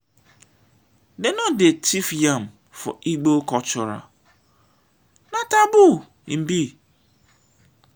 dey no dey thief yam for igbo cultural na taboo im be.